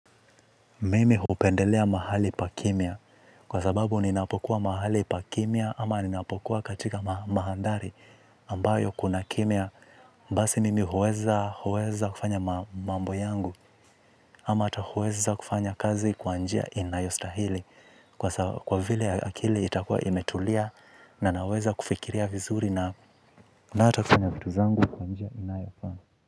Mimi hupendelea mahali pa kimya kwa sababu ninapokuwa mahali pa kimya ama ninapokuwa katika mandhari ambayo kuna kimya. Basi mimi huweza huweza kufanya mambo yangu ama hata huweza kufanya kazi kwa njia inayostahili. Kwa vile akili itakua imetulia na naweza kufikiria vizuri na hata kufanya vitu zangu kwa njia inayofaa.